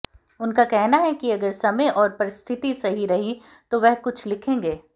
उनका कहना है कि अगर समय और परिस्थिति सही रही तो वह कुछ लिखेंगे